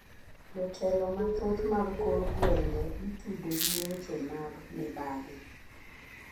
Jotelo mathoth mag kor gweng'e itudo gi weche mag mibadhi.